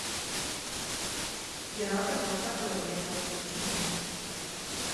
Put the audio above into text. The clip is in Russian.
пираты двадцатого века включи мне